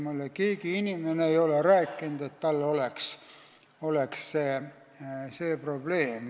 Mulle ei ole keegi rääkinud, et tal oleks selline probleem.